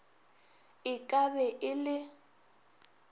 e ka be e le